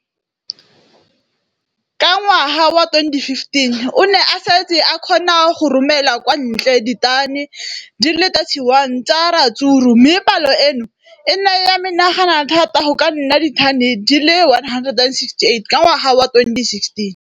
Ka ngwaga wa 2015, o ne a setse a kgona go romela kwa ntle ditone di le 31 tsa ratsuru mme palo eno e ne ya menagana thata go ka nna ditone di le 168 ka ngwaga wa 2016.